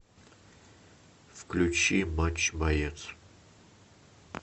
включи матч боец